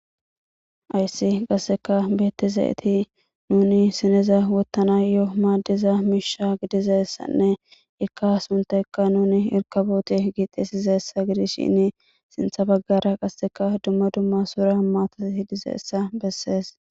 Hayssani qassika betiza eti nuni issineza wotanayo madiza misha giddiza issane ika a suntayika nuni erikabote giddi xeesida giddishin sintha baggara qassika dumma dumma so giddo besses.